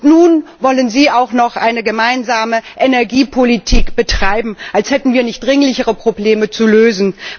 Und nun wollen Sie auch noch eine gemeinsame Energiepolitik betreiben, als hätten wir nicht dringlichere Probleme zu lösen.